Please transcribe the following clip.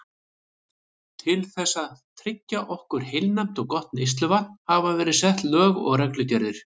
Til þess að tryggja okkur heilnæmt og gott neysluvatn hafa verið sett lög og reglugerðir.